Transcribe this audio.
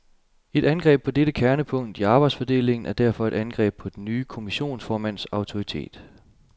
Et angreb på dette kernepunkt i arbejdsfordelingen er derfor et angreb på den nye kommissionsformands autoritet.